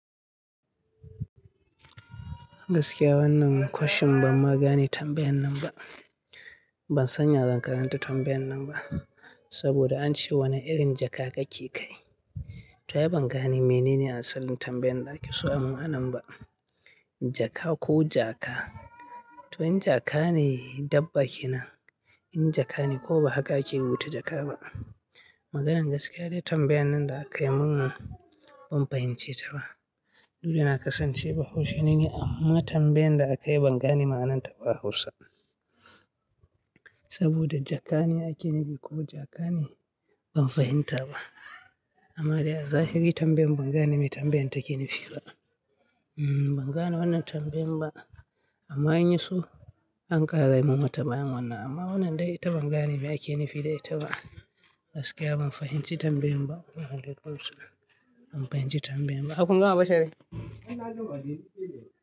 Gaskiya wannan question ban ma gane tambayan nan ba. Ban sanya zan karanta tambayan nan ba, saboda an ce wani irin jaka kake kai. To ai ban gane mene ne asalin tambayan da aka so a mun anan ba. Jaka ko jaka? To in jaka ne dabba kenan, in jaka ne kums ba haka ake rubuta jaka ba. Maganan gaskiya dai tambayan nan da aka yi mun ban fahimce ta ba. Duda na kasance bahaushe ne ni, amma tambayan da aka yi ban gane ma'anar ta ba a hausa. Saboda jaka ne ake nifi ko jaka ne? Ban fahimta ba. Amma dai a zahiri tambayan ban gane me tambayan take nufi ba. Hmm ban gane wannan tambayan ba. Amma in ya so an ƙara yi mun wata bayan wannan amma wannan dai ita ban gane me ake nufi da ita ba. Gaskiya ban fahimci tambayan ba. Waalaikum salam, ban fahimci tambayan ba. Harkun gama bashiri.